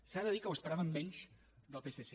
s’ha de dir que ho esperàvem menys del psc